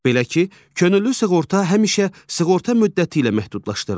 Belə ki, könüllü sığorta həmişə sığorta müddəti ilə məhdudlaşdırılır.